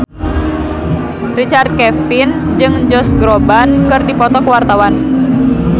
Richard Kevin jeung Josh Groban keur dipoto ku wartawan